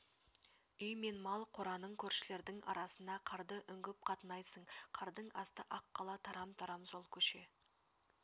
үй мен мал қораның көршілердің арасына қарды үңгіп қатынайсың қардың асты ақ қала тарам-тарам жол көше